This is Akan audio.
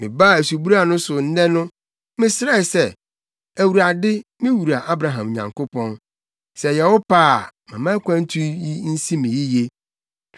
“Mebaa asubura no so nnɛ no, mesrɛe sɛ, ‘ Awurade, me wura Abraham Nyankopɔn, sɛ ɛyɛ wo pɛ a, ma akwantu yi nsi me yiye!